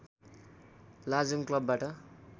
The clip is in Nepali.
लाजोङ क्लबबाट